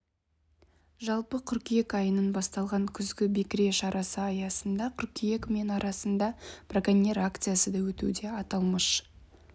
жалпы қыркүйек айының басталған күзгі бекіре шарасы аясында қыркүйектің мен арасында браконьер акциясы да өтуде аталмыш